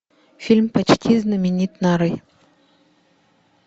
фильм почти знаменит